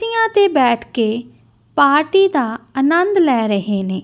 ਤੀਆਂ ਤੇ ਬੈਠ ਕੇ ਪਾਰਟੀ ਦਾ ਆਨੰਦ ਲੈ ਰਹੇ ਨੇ।